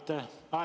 Aitäh!